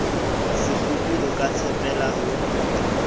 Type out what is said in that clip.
sekgopi o ka tshepela ho